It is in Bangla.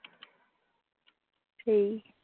হম